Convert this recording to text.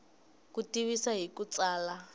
ku tivisa hi ku tsala